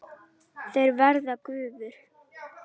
Þeir verða gufur.